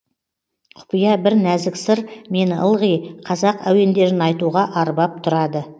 құпия бір нәзік сыр мені ылғи қазақ әуендерін айтуға арбап тұрады